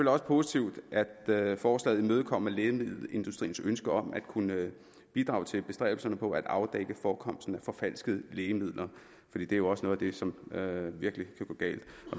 også positivt at forslaget imødekommer lægemiddelindustriens ønske om at kunne bidrage til bestræbelserne på at afdække forekomsten af forfalskede lægemidler fordi det jo også er det som virkelig kan gå galt